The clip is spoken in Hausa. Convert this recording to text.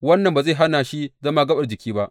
Wannan ba zai hana shi zama gaɓar jikin ba.